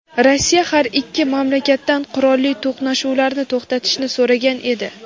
Rossiya har ikki mamlakatdan qurolli to‘qnashuvlarni to‘xtatishni so‘ragan edi.